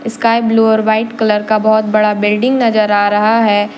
Sky blue और white colour का बहोत बड़ा बिल्डिंग नजर आ रहा है।